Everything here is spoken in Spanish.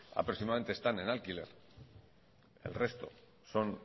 aproximadamente están en alquiler el resto son